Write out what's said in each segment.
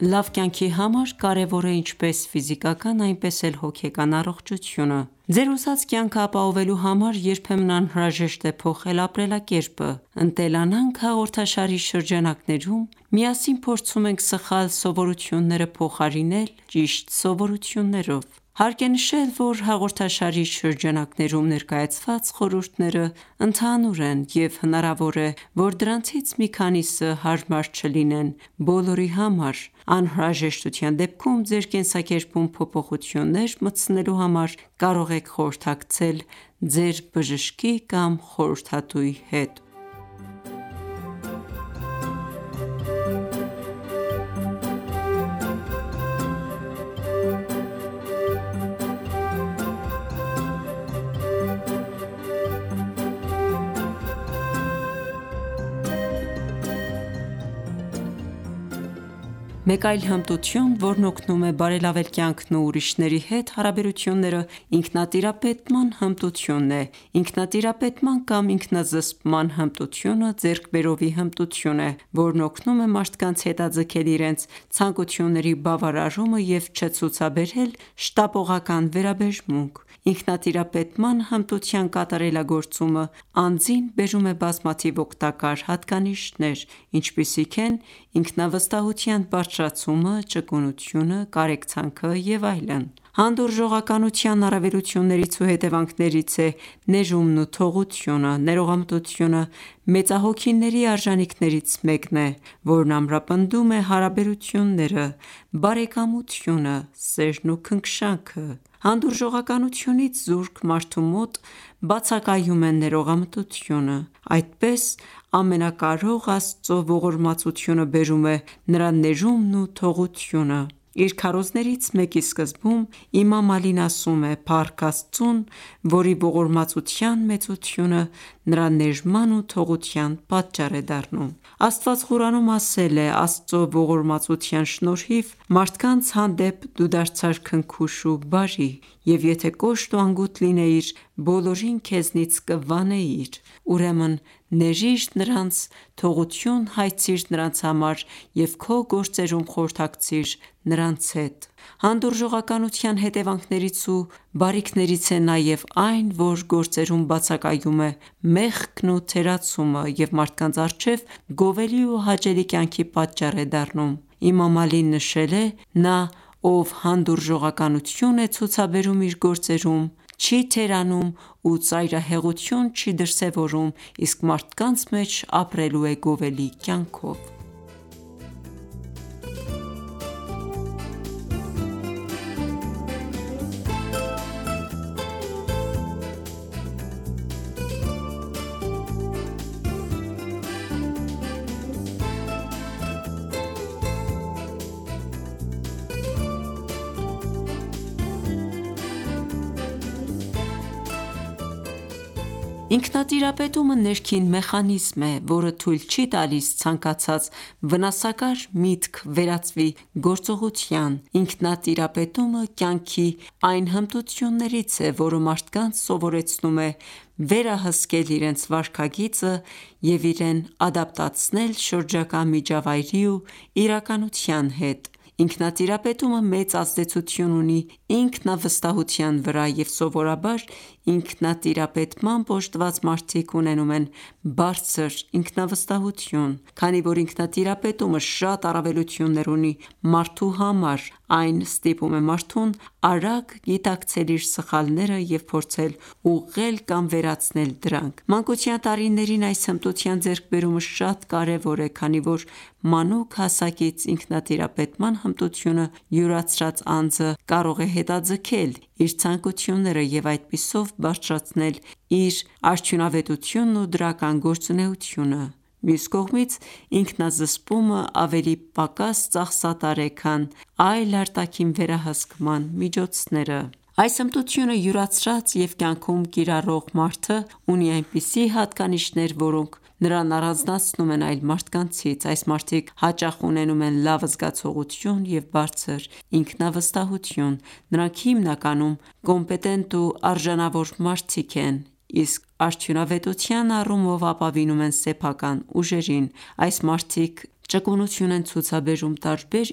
Լավ կյանքի համար կարևոր է ինչպես ֆիզիկական, այնպես էլ հոգեկան առողջությունը: Ձեր ուզած կյանքն ապահովելու համար երբեմն անհրաժեշտ է փոխել ապրելակերպը: «Ընտելանանք» հաղորդաշարի շրջանակներում միասին փորձում ենք սխալ սովորությունները փոխարինել ճիշտ սովորություններով։ Հարկ է նշել, որ հաղորդաշարի շրջանակներում ներկայացված խորհուրդներն ընդհանուր են, և հնարավոր է, որ դրանցից մի քանիսը հարմար չլինեն բոլորի համար: Անհրաժեշտության դեպքում ձեր կենսակերպում փոփոխություններ մտցնելու համար կարող եք խորհրդակցել ձեր բժշկի կամ խորհրդատուի հետ: Մեկ այլ հմտություն, որն օգնում է բարելավել կյանքն ու ուրիշների հետ հարաբերությունները, ինքնատիրապետման հմտությունն է: Ինքնտիրապետման կամ ինքնազսպման հմտությունը ձեռք բերովի հմտություն է, որը օգնում է մարդկանց հետաձգել իրենց ցանկությունների բավարարումը և չցուցաբերել շտապողական վերաբերմունք։ Ինքնտիրապետման հմտության կատարելագործումը անձին բերում է բազմաթիվ օգտակար հատկանիշներ, ինչպիսիք են ինքնավստահության բարձրացումը, ճկունությունը, կարեկցանքը և այլն: Հանդուրժողականության առավելություններից ու հետևանքներից է ներումն ու թողությունը։ Ներողամտությունը մեծահոգիների արժանիքներից մեկն է, որն ամրապնդում է հարաբերությունները, բարեկամությունը, սերն ու քնքշանքը: Հանդուրժողականությունից զուրկ մարդու մոտ բացակայում է ներողամտությունը: Այդպես ամենակարող Աստծո ողորմածությունը բերում է Նրա ներումն ու թողությունը: Իր քարոզներից մեկի սկզբում Իմամ Ալին ասում է. «Փառք Աստծուն, որի ողորմածության մեծությունը նրա ներման ու թողության պատճառ է դառնում»։ Աստված Ղուրանում ասել է. «Աստծո ողորմածության շնորհիվ, մարդկանց հանդեպ դու դարձար քնքուշ ու բարի, և եթե կոշտ ու անգութ լինեիր, բոլորին քեզնից կվանեիր: Ուրեմն ներիր նրանց, թողություն հայցիր նրանց համար և քո գործերում խորհրդակցիր նրանց հետ ...»: Հանդուրժողականության հետևանքներից ու բարիքներից է նաև այն, որ գործերում բացակայում է մեղքն ու թերացումը և մարդկանց առջև գովելի ու հաճելի կյանքի պատճառ է դառնում: Իմամ Ալին նշել է. «Նա, ով հանդուրժողականություն է ցուցաբերում, իր գործերում չի թերանում ու ծայրահեղություն չի դրսևորում, իսկ մարդկանց մեջ ապրելու է գովելի կյանքով»: Ինքնատիրապետումը ներքին մեխանիզմ է, որը թույլ չի տալիս ցանկացած վնասակար միտք վերածվի գործողության։ Ինքնատիրապետումը կյանքի այն հմտություններից է, որը մարդկանց սովորեցնում է վերահսկել իրենց վարքագիծը և իրեն ադապտացնել շրջակա միջավայրի ու իրականության հետ: Ինքնատիրապետումը մեծ ազդեցություն ունի ինքնավստահության վրա և Սովորաբար Ինքնատիրապետմամբ օժտված մարդիկ ունենում են բարձր ինքնավստահություն։ Քանի որ ինքնատիրապետումը շատ առավելություններ ունի մարդու համար, այն ստիպում է մարդուն արագ գիտակցել իր սխալները և փորձել ուղղել կամ վերացնել դրանք։ Մանկության տարիներին այս հմտության ձեռքբերումը շատ կարևոր է, քանի որ մանուկ հասակից ինքնատիրապետման հմտությունը յուրացրած անձը կարող է հետաձգել իր ցանկությունները և այդպիսով բարձրացնել իր արդյունավետությունն ու դրական գործունեությունը: Մյուս կողմից, ինքնազսպումը ավելի պակաս ծախսատար է, քան այլ արտաքին վերահսկման միջոցները: Այս հմտությունը յուրացրած և կյանքում կիրառող մարդը ունի այնպիսի հատկանիշներ, որոնք նրան առանձնացնում են այլ մարդկանցից: Այս մարդիկ հաճախ ունենում են լավ զգացողություն և բարձր ինքնավստահություն։ Նրանք հիմնականում կոմպետենտ ու արժանավոր մարդիկ են, իսկ արդյունավետության առումով ապավինում են սեփական ուժերին։ Այս մարդիկ ճկունություն են ցուցաբերում տարբեր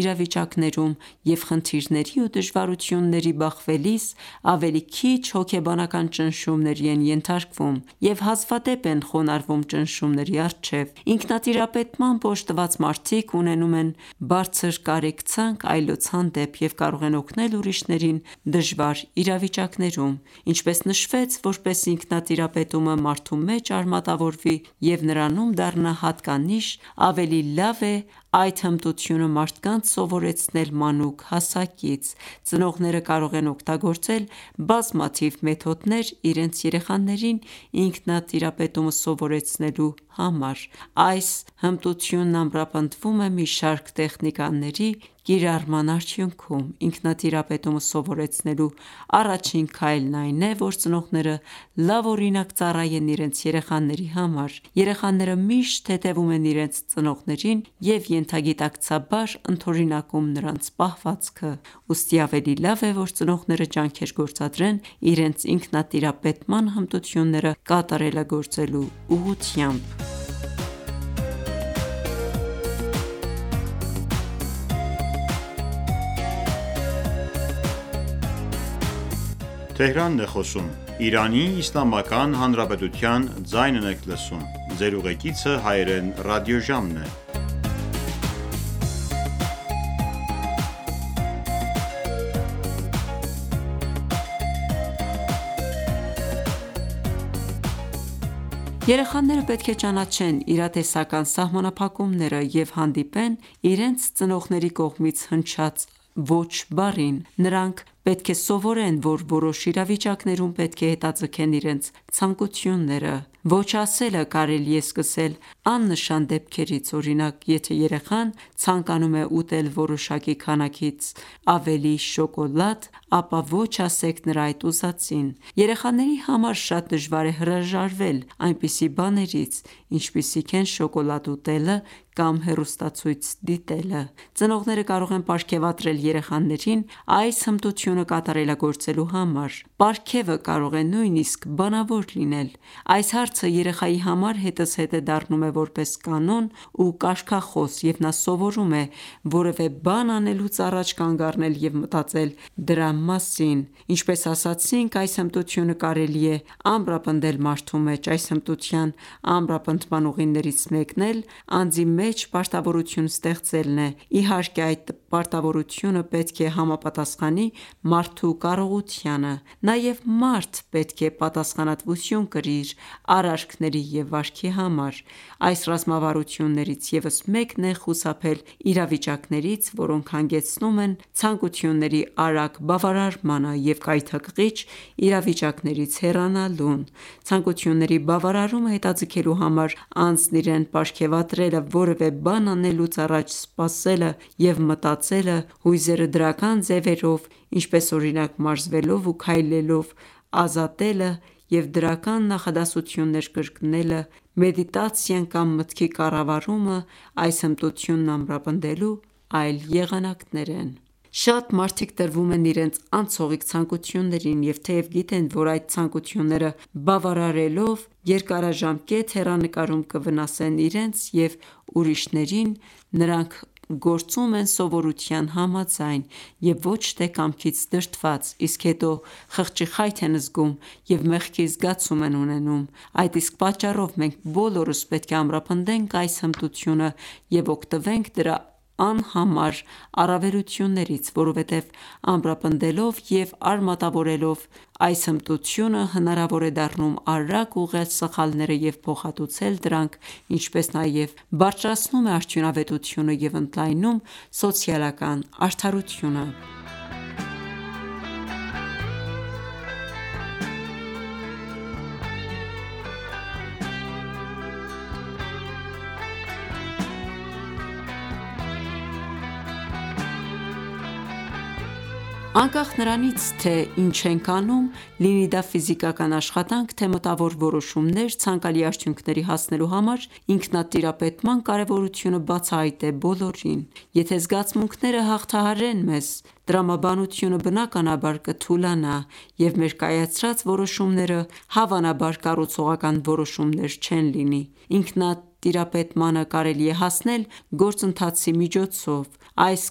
իրավիճակներում, և խնդիրների ու դժվարությունների բախվելիս, ավելի քիչ հոգեբանական ճնշումների են ենթարկվում և հազվադեպ են խոնարհվում ճնշումների առջև։ Ինքնտիրապետմամբ օժտված մարդիկ ունենում բարձր կարեկցանք այլոց հանդեպ և կարող են օգնել ուրիշներին դժվար իրավիճակներում: Ինչպես նշվեց, որպեսզի ինքնատիրապետումը մարդու մեջ արմատավորվի և նրանում դառնա հատկանիշ, ավելի լավ է այդ հմտությունը մարդկանց սովորեցնել մանուկ հասակից։ Ծնողները կարող են օգտագործել բազմաթիվ մեթոդներ՝ իրենց երեխաներին ինքնատիրապետումը սովորեցնելու համար։ Այս հմտությունն ամրապնդվում է մի շարք տեխնիկաների կիրառման արդյունքում: Ինքնատիրապետումը սովորեցնելու առաջին քայլն այն է, որ ծնողները լավ օրինակ ծառայեն իրենց երեխաների համար: Երեխաները միշտ հետևում են իրենց ծնողներին և ենթագիտակցաբար ընդօրինակում նրանց պահվածքը: Ուստի ավելի լավ է, որ ծնողները ջանքեր գործադրեն իրենց ինքնատիրապետման հմտությունները կատարելագործվելու ուղղությամբ։ Երեխաները պետք է ճանաչեն իրատեսական սահմանափակումները և հանդիպեն իրենց ծնողների կողմից հնչած ոչ բառին: Նրանք պետք է սովորեն, որ որոշ իրավիճակներում պետք է հետաձգեն իրենց ցանկությունները։ Ոչ ասելը կարելի է սկսել աննշան դեպքերից: Օրինակ, եթե երեխան ցանկանում է ուտել որոշակի քանակից ավելի շոկոլադ, ապա ոչ ասեք նրա այդ ուզածին։ Երեխաների համար շատ դժվար է հրաժարվել այնպիսի բաններից, ինչպիսիք են շոկոլադ ուտելը կամ հեռուստացույց դիտելը: Ծնողները կարող են պարգեւատրել երեխաներին այս հմտությունը կատարելագործելու համար: Պարգևը կարող է նույնիսկ բանավոր լինել. Այս հարցը երեխայի համար հետզհետե դառնում է որպես կանոն ու կարգախոս, և նա սովորում է որևէ բան անելուց առաջ կանգ առնել և մտածել դրա մասին: Ինչպես ասացինք, այս հմտությունը կարելի է ամրապնդել մարդու մեջ։ Այս հմտության ամրապնդման ուղիներից մեկն էլ անձի մեջ պարտավորություն ստեղծելն է, իհարկե, այդ պարտավորությունը պետք է համապատասխանի մարդու կարողությանը։ Նաև մարդ պետք է պատասխանատվություն կրի իր արարքների և վարքի համար։ Այս ռազմավարություններից ևս մեկն է խուսափել իրավիճակներից, որոնք հանգեցնում են ցանկությունների արագ բավարարմանը և գայթակղիչ իրավիճակներից հեռանալուն: Ցանկությունների բավարարումը հետաձգելու համար անձն իրեն պարգևատրելը, որևէ բան անելուց առաջ սպասելը և մտածելը, հույզերը դրական ձևերով, ինչպես օրինակ՝ մարզվելով ու քայլելով ազատելը և դրական նախադասությունները կրկնելը, մեդիտացիան կամ մտքի կառավարումը, այս հմտությունն ամրապնդելու այլ եղանակներ են: Շատ մարդիկ տրվում են իրենց անցողիկ ցանկություններին և թեև գիտեն, որ այդ ցանկությունները բավարարելով, երկարաժամկետ հեռանկարում կվնասեն իրենց և ուրիշներին, նրանք գործում են սովորության համաձայն և ոչ թե կամքից դրդված, իսկ հետո խղճի խայթ են զգում և մեղքի զգացում են ունենում: Այդ իսկ պատճառով մենք բոլորս պետք է ամրապնդենք այս հմտությունը և օգտվենք դրա անհամար առավելություններից: Որովհետև ամրապնդելով և արմատավորելով այս հմտությունը՝ հնարավոր է դառնում արագ ուղղել սխալները և փոխհատուցել դրանք, ինչպես նաև բարձրացնում է արդյունավետությունը և ընդլայնում սոցիալական արդարությունը։ Անկախ նրանից, թե ինչ ենք անում, լինի դա ֆիզիկական աշխատանք, թե մտավոր որոշումներ, ցանկալի արդյունքների հասնելու համար ինքնատիրապետման կարևորությունը բացահայտ է բոլորին: Եթե ​​զգացմունքները հաղթահարեն մեզ, տրամաբանությունը բնականաբար կթուլանա, և մեր կայացրած որոշումները, հավանաբար, կառուցողական որոշումներ չեն լինի: Ինքնատիրապետմանը կարելի է հասնել գործընթացի միջոցով: Այս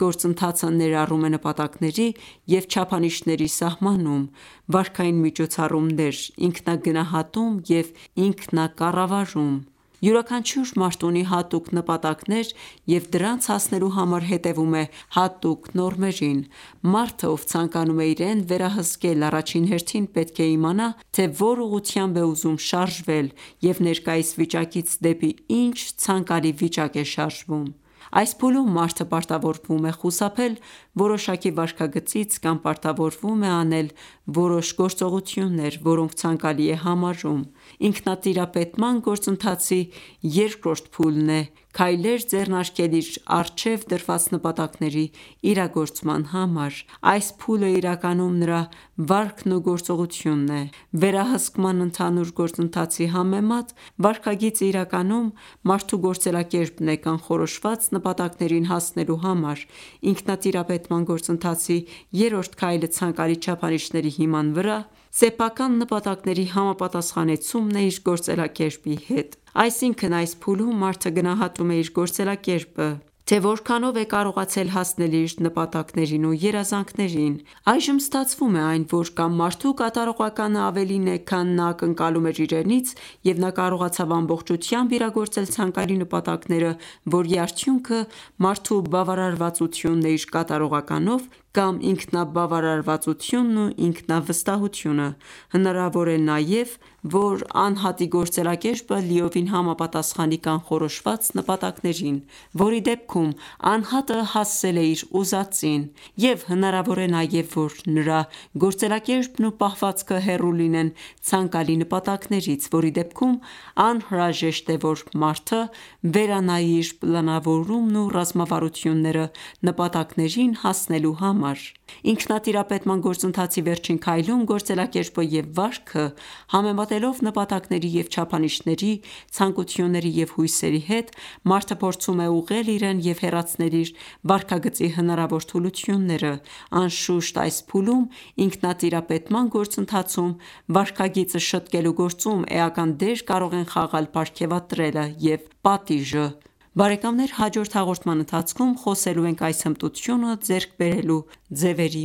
գործընթացը ներառում է նպատակների և չափանիշների սահմանում, վարքային միջոցառումներ, ինքնագնահատում և ինքնակառավարում: Յուրաքանչյուր մարդ ունի հատուկ նպատակներ և դրանց հասնելու համար հետևում է հատուկ նորմերին։ Մարդը, ով ցանկանում է իրեն վերահսկել, առաջին հերթին պետք է իմանա, թե որ ուղղությամբ է ուզում շարժվել և ներկայիս վիճակից դեպի ինչ ցանկալի վիճակ է շարժվում։ Այս փուլում մարդը պարտավորվում է խուսափել որոշակի վարքագծից կամ պարտավորվում է անել որոշ գործողություններ, որոնք ցանկալի է համարում: Ինքնատիրապետման գործընթացի երկրորդ փուլն է՝ քայլեր ձեռնարկել իր առջև դրված նպատակների իրագործման համար: Այս փուլն իրականում նրա վարքն ու գործողությունն է։ Վերահսկման ընդհանուր գործընթացի համեմատ վարքագիծը իրականում մարդու գործելակերպն է՝ կանխորոշված ​​նպատակներին հասնելու համար: Ինքնատիրապետման գործընթացի երրորդ քայլը ցանկալի չափանիշների հիման վրա սեփական նպատակների համապատասխանեցումն է իր գործելակերպի հետ: Այսինքն, այս փուլում մարդը գնահատում է իր գործելակերպը, թե որքանով է կարողացել հասնել իր նպատակներին ու երազանքներին։ Այժմ ստացվում է այն, որ կամ մարդու կատարողականը ավելին է, քան նա ակնկալում էր իրենից, և նա կարողացավ ամբողջությամբ իրագործել ցանկալի նպատակները, որի արդյունքը մարդու բավարարվածությունն է իր կատարողականով, կամ ինքնաբավարարվածությունն ու ինքնավստահությունը: Հնարավոր է նաև, որ անհատի գործելակերպը լիովին համապատասխանի կանխորոշված ​​նպատակներին, որի դեպքում անհատը հասել է իր ուզածին: Եվ հնարավոր է նաև, որ նրա գործելակերպն ու պահվածքը հեռու լինեն ցանկալի նպատակներից, որի դեպքում անհրաժեշտ է, որ մարդը վերանայի իր պլանավորումն ու ռազմավարությունները՝ նպատակներին հասնելու համար։ Ինքնատիրապետման գործընթացի վերջին քայլում, գործելակերպը և վարքը համեմատելով նպատակների և չափանիշների, ցանկությունների և հույսերի հետ, մարդը փորձում է ուղղել իրեն և հեռացնել իր վարքագծի հնարավոր թուլությունները: Անշուշտ, այս փուլում ինքնատիրապետման գործընթացում վարքագիծը շտկելու գործում էական դեր կարող են խաղալ պարգևատրելը և պատիժը: Բարեկամներ հաջորդ հաղորդման ընթացքում խոսելու ենք այս հմտությունը ձեռք բերելու ձևերի